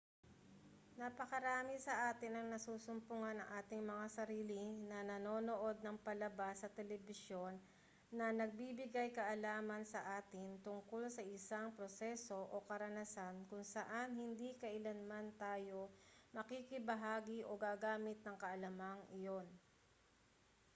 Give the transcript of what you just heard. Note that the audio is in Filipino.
napakarami sa atin ang nasusumpungan ang ating mga sarili na nanonood ng palabas sa telebisyon na nagbibigay-kaalaman sa atin tungkol sa isang proseso o karanasan kung saan hindi kailanman tayo makikibahagi o gagamit ng kaalamang iyon